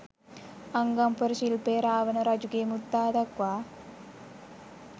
අංගම් පොර ශිල්පය රාවණ රජුගේ මුත්තා දක්වා